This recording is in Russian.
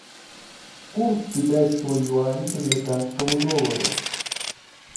курс китайского юаня к американскому доллару